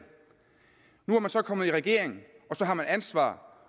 nu er man så kommet i regering og så har man ansvar